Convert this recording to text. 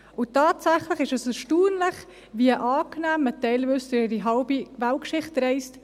Tatsächlich ist es erstaunlich, wie angenehm man teilweise im Zug durch die halbe Weltgeschichte reist.